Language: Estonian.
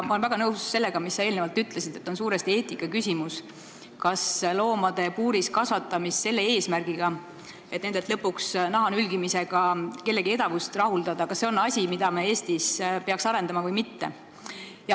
Ma olen väga nõus sellega, mida sa eelnevalt ütlesid, et on suuresti eetikaküsimus, kas loomade puuris kasvatamine selle eesmärgiga, et lõpuks nende naha nülgimisega kellegi edevust rahuldada, on asi, mida me Eestis peaksime arendama või mitte.